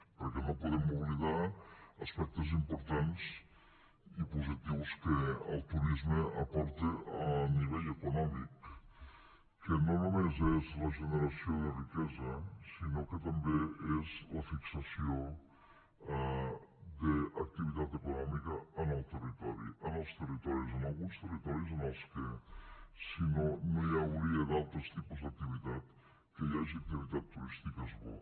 perquè no podem oblidar aspectes importants i positius que el turisme aporta a nivell econòmic que no només és la generació de riquesa sinó que també és la fixació d’activitat econòmica en el territori en els territoris en alguns territoris en els que si no no hi hauria altres tipus d’activitats que hi hagi activitat turística és bo